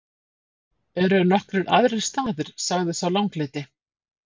Eru nokkrir aðrir staðir, sagði sá langleiti.